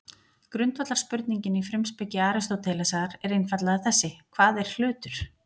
Grundvallarspurningin í frumspeki Aristótelesar er einfaldlega þessi: Hvað er hlutur?